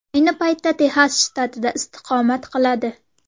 Ayni paytda Texas shtatida istiqomat qiladi.